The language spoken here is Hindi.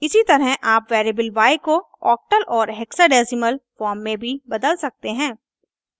इसी तरह आप variable y को octal और hexadesimal फॉर्म में भी बदल सकते हैं